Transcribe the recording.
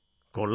കൊള്ളാം